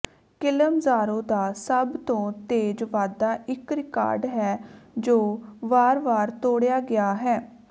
Kilimanjaro ਦਾ ਸਭ ਤੋਂ ਤੇਜ਼ ਵਾਧਾ ਇਕ ਰਿਕਾਰਡ ਹੈ ਜੋ ਵਾਰ ਵਾਰ ਤੋੜਿਆ ਗਿਆ ਹੈ